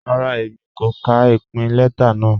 Rárá, Èmi kò kà ìpìn lẹta náà.